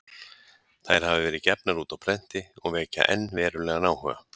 Þær hafa verið gefnar út á prenti og vekja enn verulegan áhuga.